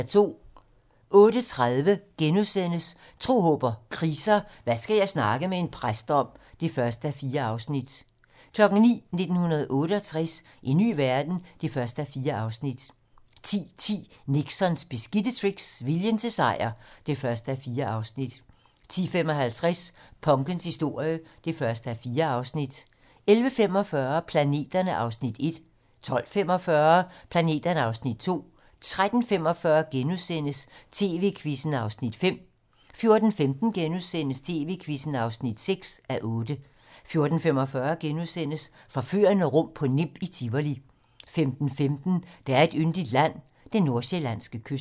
08:30: Tro, håb & kriser: Hvad skal jeg snakke med en præst om? (1:4)* 09:00: 1968 - en ny verden? (1:4) 10:10: Nixons beskidte tricks - viljen til sejr (1:4) 10:55: Punkens historie (1:4) 11:45: Planeterne (Afs. 1) 12:45: Planeterne (Afs. 2) 13:45: TV-Quizzen (5:8)* 14:15: TV-Quizzen (6:8)* 14:45: Forførende rum på Nimb i Tivoli * 15:15: Der er et yndigt land - den nordsjællandske kyst